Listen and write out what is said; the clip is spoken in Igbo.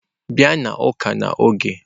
Bịa n'ụka n'oge!